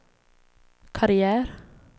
karriär